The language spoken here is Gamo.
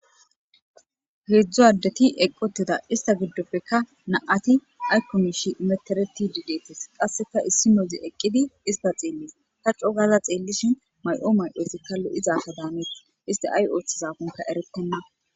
heedzdzu addeti eqqoteda ista giddopekka na7ati ayko mishi menteretidi deettes qasseka issinozi eqqidi ista xeelles ta co gaaza xeellishi may7o mayi7ozikka lo7iza asa daanees iste ay oothizakonka erettenna